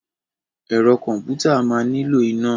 Ẹ̀rọ kọ̀m̀pútà máa nílò iná.